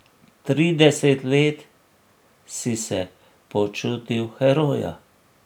Trideset let si se počutil heroja.